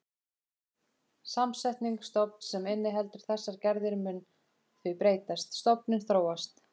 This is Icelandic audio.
Samsetning stofns sem inniheldur þessar gerðir mun því breytast, stofninn þróast.